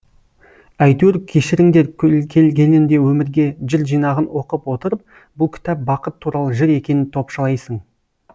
әйтеуір кешіріңдер келгенімді өмірге жыр жинағын оқып отырып бұл кітап бақыт туралы жыр екенін топшылайсың